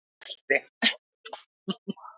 Sammála um að lækka vexti